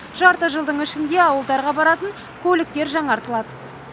жарты жылдың ішінде ауылдарға баратын көліктер жаңартылады